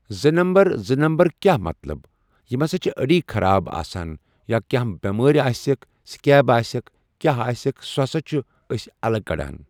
زٕ نَمبر زٕ نَمبر کیٚاہ مطلب یم ہسا چھِ أڈۍ خراب آسن یا کانٛہہ بیمٲرۍ آسٮ۪ک سِکیب آسٮ۪ک کیٚاہ آسیٚکھ سُہ ہسا چھِ أسۍ الگ کَڑان۔